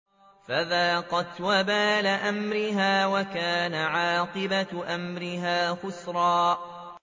فَذَاقَتْ وَبَالَ أَمْرِهَا وَكَانَ عَاقِبَةُ أَمْرِهَا خُسْرًا